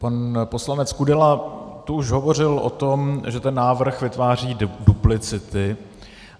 Pan poslanec Kudela tu už hovořil o tom, že ten návrh vytváří duplicity.